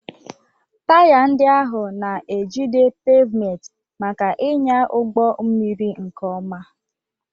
Taya ndị ahụ na-ejide pavement maka ịnya ụgbọ mmiri nke ọma.